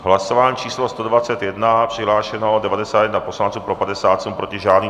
Hlasování číslo 121, přihlášeno 91 poslanců, pro 57, proti žádný.